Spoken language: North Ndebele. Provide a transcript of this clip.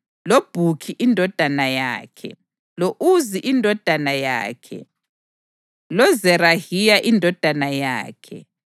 loBhukhi indodana yakhe, lo-Uzi indodana yakhe, loZerahiya indodana yakhe,